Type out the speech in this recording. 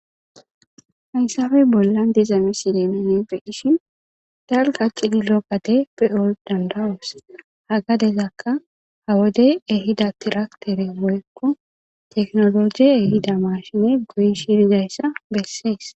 Hayssafey bollan dizame sileemenefe hishi dalqa qidi lookkade pe'ol dandawos hagadezakka ha wode ehida tiraktere moyekko teknologe ehida mashine goyi shidizayssa bessees.